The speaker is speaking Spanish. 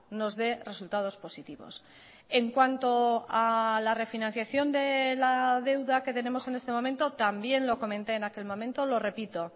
nos dé resultados positivos en cuanto a la refinanciación de la deuda que tenemos en este momento también lo comenté en aquel momento lo repito